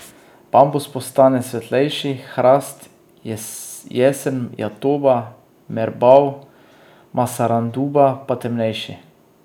Bambus postane svetlejši, hrast, jesen jatoba, merbau, masaranduba pa temnejši.